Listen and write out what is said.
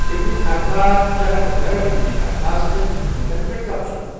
ابن عرفہ چرخ غٗرر ابن عرفہ سندین حکمتن پؠٹھ تبصرٕ